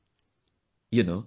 And for me this means double joy